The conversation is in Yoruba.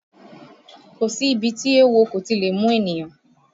Kò sí ibi tí éwo kò ti lè mú ènìyàn